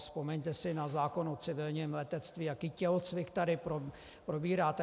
Vzpomeňte si na zákon o civilním letectví, jaký tělocvik tady probíráte.